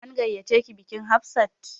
An gayyace ki bikin Hafsat?